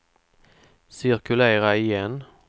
cirkulera igen